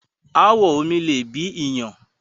ááwọ̀ omi le bí iyàn.